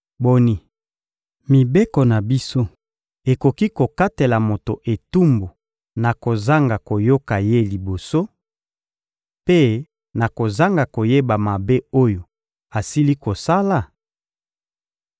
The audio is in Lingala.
— Boni, mibeko na biso ekoki kokatela moto etumbu na kozanga koyoka ye liboso, mpe na kozanga koyeba mabe oyo asili kosala?